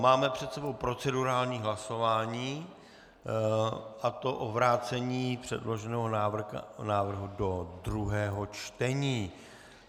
Máme před sebou procedurální hlasování, a to o vrácení předloženého návrhu do druhého čtení.